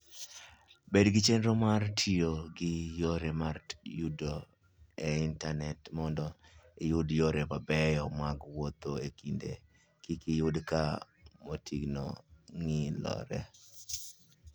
Bed gi chenro mar tiyo gi yore ma yudore e Intanet mondo iyud yore mabeyo mag wuoth kendo kik iyud ka mtokni ng'ielore.